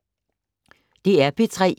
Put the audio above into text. DR P3